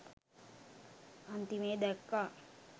අන්තිමේ දැක්කා